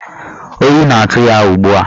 Oyi na-atụ ya ugbua.